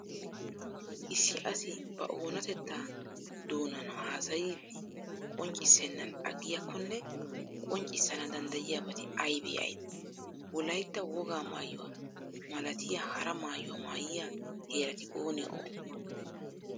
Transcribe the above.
Issi asi ba oonatettaa doonan haasayidi qonccissennan aggiyakkonne qonccissana danddayiyabati aybee aybee? Wolaytta wogaa Maayuwa malatiya hara maayuwa maayyiya heerati oonee oonee ?